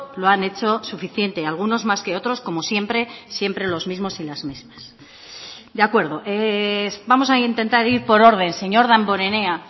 lo han hecho suficiente algunos más que otros como siempre siempre los mismos y las mismas de acuerdo vamos a intentar ir por orden señor damborenea